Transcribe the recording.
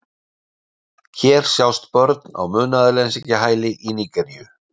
Hér sjást börn á munaðarleysingjahæli í Nígeríu.